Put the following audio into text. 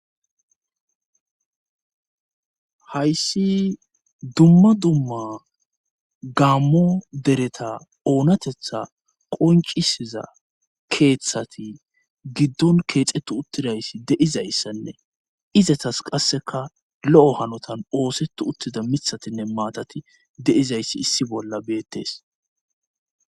Hayssi dumma dumma gammo dereta oonatetha qoncisiza keeththati giddon keexetu uttidayssi deizayssanne izatas qasseka lo7o hanotan oosetu uttida mithatinne maatati de7izayssi issi bolla beettes.